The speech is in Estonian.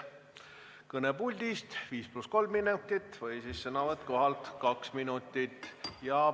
Kõne puldist, 5 + 3 minutit või siis sõnavõtt kohalt 2 minutit.